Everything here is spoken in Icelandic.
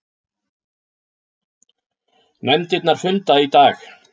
Nefndirnar funda í dag